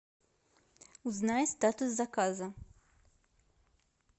узнай статус заказа